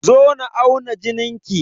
Zo na auna jinin ki!